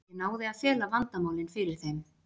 Ég náði að fela vandamálin fyrir þeim.